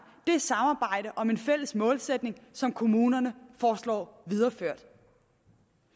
det samarbejde om en fælles målsætning som kommunerne foreslås videreført